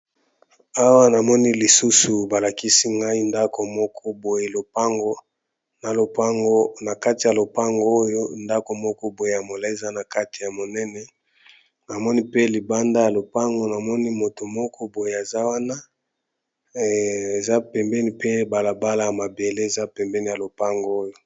Awa namoni lisusu balakisi ngai ndako moko boye opng na kati ya lopango oyo ndako moko boye ya moleza na kati ya monene namoni pe libanda ya lopango namoni moto moko boye eza wana eza pembeni pe balabala ya mabele eza pembeni ya lopango oyo.